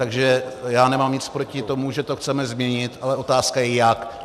Takže já nemám nic proti tomu, že to chceme změnit, ale otázka je jak.